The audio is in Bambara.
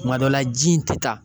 Kuma dɔ la ji in ti taa